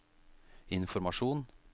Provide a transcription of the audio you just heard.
informasjon